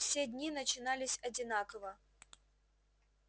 все дни начинались одинаково